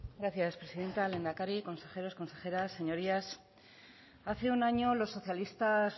gracias presidenta lehendakari consejeros consejeras señorías hace un año los socialistas